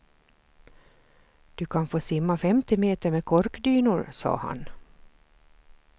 Du kan få simma femti meter med korkdynor, sa han.